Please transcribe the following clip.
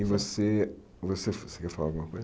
E você, você você quer falar alguma coisa?